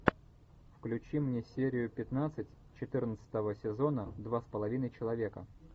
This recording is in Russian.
включи мне серию пятнадцать четырнадцатого сезона два с половиной человека